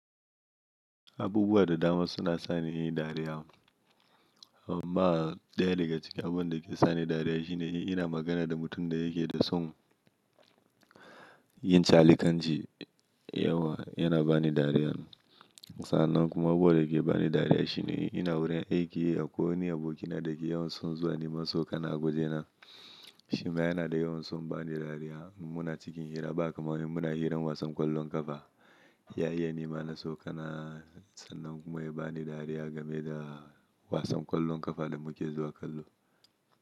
Abubuwa da dama suna sani yin dariya. Ama daya daga cikin abun da ke sani dariya shine in ina magana da mutum da yake da son yin calikanji, yawa yana bani dariya. Sannan kuma abubuwa da yake bani dariya shine ina wurin aiki akwai wani abokina da yake yawan son zuwa neman so kana awoje na. Shi ma yana da yawan son bani dariya. Muna cikin hira ba kamar in muna hirar wasan ƙwallon ƙafa. Ya yi nima na so kana sannan kuma ya bani dariya game da wasan ƙwallon ƙafa da muke zuwa kallo.